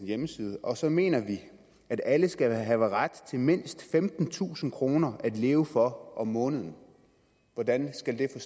hjemmeside og så mener vi at alle skal have ret til mindst femtentusind kroner at leve for om måneden hvordan skal det